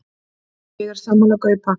Ég er sammála Gaupa.